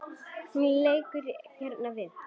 Hún leggur eyrun við.